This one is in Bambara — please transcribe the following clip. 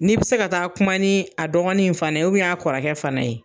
N'i bɛ se ka taa kuma ni a dɔgɔnin in fana ye a kɔrɔkɛ fana ye.